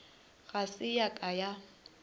ga se ya ka ya